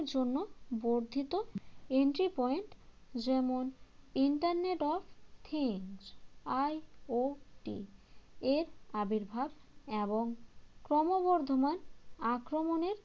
জন্য বর্ধিত entry point যেমন internet of thinks IOT এর আবির্ভাব এবং ক্রমবর্ধমান আক্রমণের